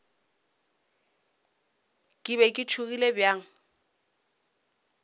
ke be ke tšhogile bjang